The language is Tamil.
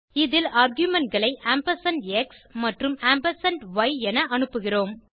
இதில் argumentகளை ஆம்பர்சாண்ட் எக்ஸ் மற்றும் ஆம்பர்சாண்ட் ய் என அனுப்புகிறோம்